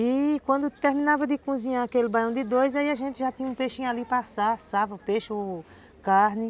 E quando terminava de cozinhar aquele baião de dois, aí a gente já tinha um peixinho ali para assar, assava o peixe ou carne.